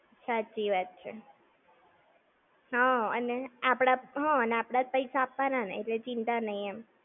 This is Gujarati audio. સાચી વાત છે. હા અને આપણા, હા અને આપણા જ પૈસા આપવન એટલે ચિંતા નઈ એમ.